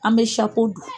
An bɛ dun